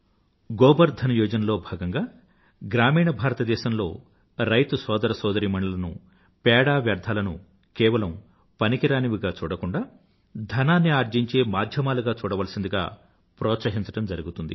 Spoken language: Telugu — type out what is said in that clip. గోబర్ ధన్ యోజనా లో భాగంగా గ్రామీణ భారతదేశంలో రైతు సోదరసోదరీమణులను పేడ వ్యర్థాలనూ కేవలం పనికిమాలినవిగా చూడకూండా ధనాన్ని ఆర్జించే మాధ్యమాలుగా చూడాలవలసిందిగా ప్రోత్సహించడం జరుగుతుంది